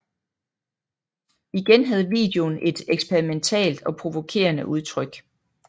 Igen havde videoen et eksperimentalt og provokerende udtryk